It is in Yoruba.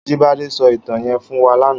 Ajibade sò itàn yèn fún wà làná